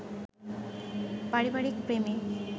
পারিবারিক প্রেমে